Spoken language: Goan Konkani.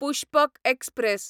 पुष्पक एक्सप्रॅस